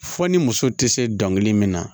Fo ni muso tɛ se dɔnkili min na